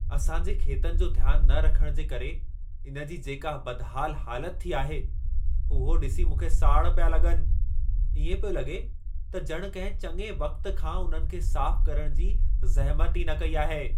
असां जे खेतनि जो ध्यान न रखण जे करे इन जी जेका बदहाल हालत थी आहे, उहो ॾिसी मूंखे साड़ पिया लॻनि। इएं पियो लॻे त ॼणु कंहिं चङे वक़्त खां उन्हनि खे साफ़ु करणु जी ज़हमत ई न कई आहे।